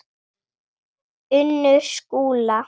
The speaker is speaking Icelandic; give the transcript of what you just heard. Unnur Skúla.